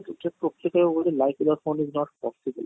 ନିଜକୁ life without phone is not possible